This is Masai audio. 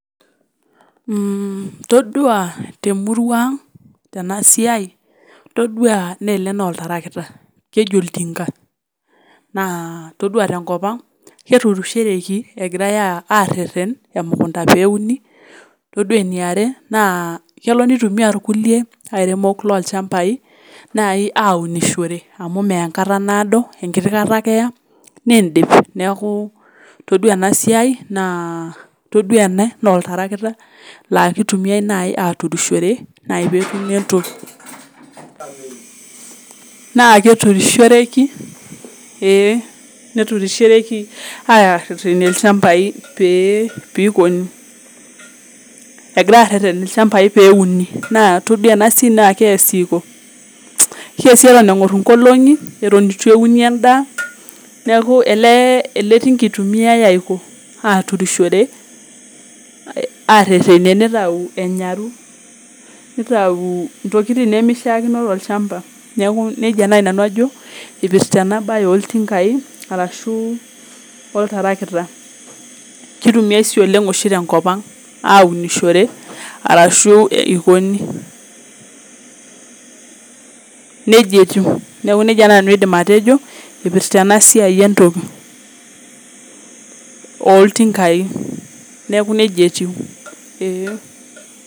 Todua temurua ang ena siiai naa ore ele naa oltarakita keji oltinka naa todua tenkop naa keiremishoreki egirai areren emukunta peuni todua eneriare kelo meitumia kulie airemok aunishore amu meya enkata naado enkiti kata ake neeku ore ena siai todua ele naa oltarakita laa keitumiyai naaji aturishore naa keturishoreki eeeh neturishoreki aareren ilchambai pee eikoni egirai areren ilchambai peuni todua ena siai naa keesi eton eiko neeku keesi eng'or inkolong'i neeku ele tinka etumiyai aaturishore arerenie neitau enyaru neitayu intokitin nemeishikino tolchamba neeku nejia naaji nanu ajo eipirta ena baye oltinkai arashu oltarakita keitumiyai sii oshi oleng tenkop aunishore ashuu eikoni neeku nejia nanu aidim atejo eipirta ena esiai entoki ooltinkai neeku Nejia etiu eee.